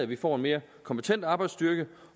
vi får en mere kompetent arbejdsstyrke